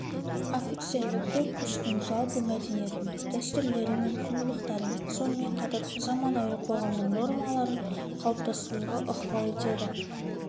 офицерлік корпустың жалпы мәдениетін дәстүрлері мен құндылықтарын сонымен қатар заманауи қоғамның нормаларын қалыптастыруға ықпал етеді